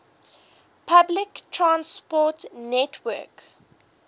public transport network